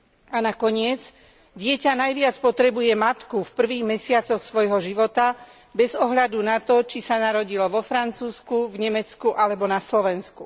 A nakoniec, dieťa najviac potrebuje matku v prvých mesiacoch svojho života, bez ohľadu na to, či sa narodilo vo Francúzsku, v Nemecku alebo na Slovensku.